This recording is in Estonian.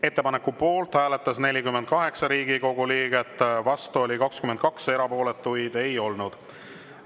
Ettepaneku poolt hääletas 48 Riigikogu liiget, vastu oli 22, erapooletuid ei olnud.